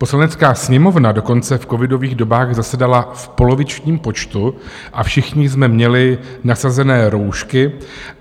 Poslanecká sněmovna dokonce v covidových dobách zasedala v polovičním počtu a všichni jsme měli nasazené roušky.